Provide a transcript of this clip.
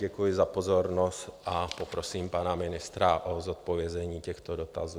Děkuji za pozornost a poprosím pana ministra o zodpovězení těchto dotazů.